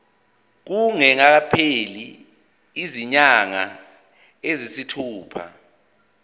kungakapheli izinyanga eziyisithupha